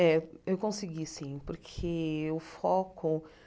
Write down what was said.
Eh eu consegui sim porque o foco